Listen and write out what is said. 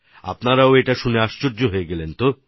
আপনারাও এটা শুনে আশ্চর্য হয়ে গেছেন হয়ত